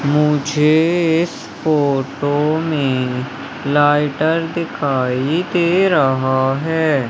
मुझे इस फोटो में लाइटर दिखाई दे रहा है।